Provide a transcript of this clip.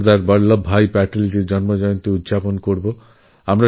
সর্দার বল্লভভাই প্যাটেলের জন্মজয়ন্তী পালনকরা হবে